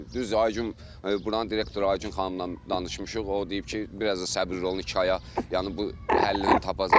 Düzdür, Aygün buranın direktoru Aygün xanımla danışmışıq, o deyib ki, biraz da səbirli olun, iki aya, yəni bu həllini tapacaq.